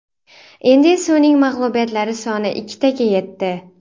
Endi esa uning mag‘lubiyatlari soni ikkitaga yetdi.